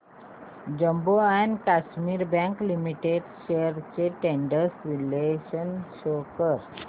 Jammu and Kashmir bank limited shares trends चे विश्लेषण show कर